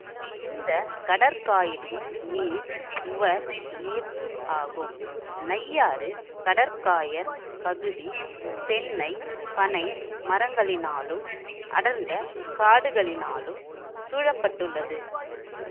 இந்த கடற்காயலின் நீர் உவர் நீர் ஆகும் நையாறு கடற்காயற் பகுதி தென்னை பனை மரங்களினாலும் அடர்ந்த காடுகளினாலும் சூழ பட்டுள்ளது